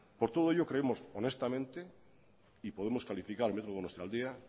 por todo ello creemos honestamente y podemos calificar el metro donostialdea